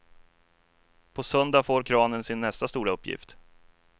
På söndag får kranen sin nästa stora uppgift.